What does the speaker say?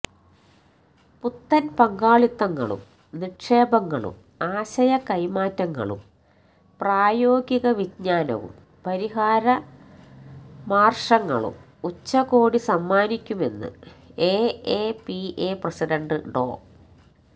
പുത്തന് പങ്കാളിത്തങ്ങളും നിക്ഷേപങ്ങളും ആശയകൈമാറ്റങ്ങളും പ്രായോഗികവിജ്ഞാനവും പരിഹാരമാര്ക്ഷങ്ങളും ഉച്ചകോടി സമ്മാനിക്കുമെന്ന് എഎപിഐ പ്രസിഡന്റ് ഡോ